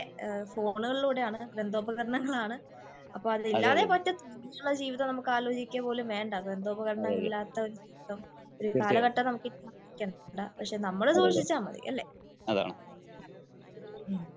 ഫോണുകളിലൂടെയാണ് ഗ്രന്ഥഉപകരണങ്ങൾ ആണ്. അപ്പോ അത് ഇല്ലാതെ പട്ത്തിറ്റല്ല. ഇനിയുള്ള ജീവിതം നമുക്ക് ആലോചിക്കുക പോലും വേണ്ട ഗ്രന്ഥഉപകരണങ്ങൾ ഇല്ലാത്ത ഒരു ജീവിതം കാലഘട്ടം നമുക്ക് പക്ഷേ നമ്മൾ സൂക്ഷിച്ചാൽ മതി.